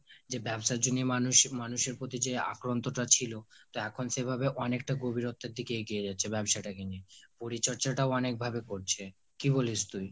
যে ব্যাবসার জন্য মানুষ, মানুষের প্রতি যে আগ্রহটা ছিল, তা এখন সেভাবে অনেকটা গভীরত্বের দিকে এগিয়ে যাচ্ছে ব্যবসাটাকে নিয়ে, পরিচর্যাটাও অনেকভাবে করছে, কি বলিস তুই?